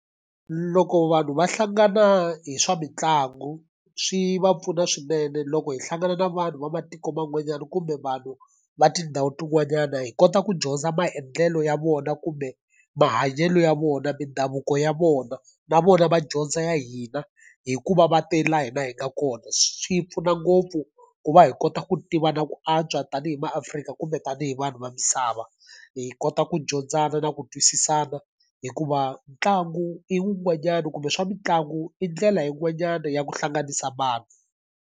Loko vanhu va hlangana hi swa mitlangu, swi va pfuna swinene. Loko hi hlangana na vanhu va matiko man'wanyana kumbe vanhu va tindhawu tin'wanyana, hi kota ku dyondza maendlelo ya vona kumbe mahanyelo ya vona, mindhavuko ya vona, na vona va dyondza ya hina hikuva va te laha hina hi nga kona. Swi pfuna ngopfu ku va hi kota ku tivana ku antswa tanihi MaAfrika kumbe tanihi vanhu va misava, h kota ku dyondzana na ku twisisana. Hikuva ntlangu i wun'wanyani kumbe swa mitlangu i ndlela yin'wanyana ya ku hlanganisa vanhu.